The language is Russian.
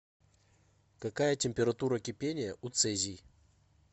какая температура кипения у цезий